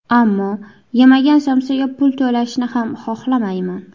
Ammo, yemagan somsaga pul to‘lashni ham, xohlamayman.